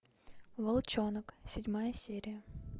волчонок седьмая серия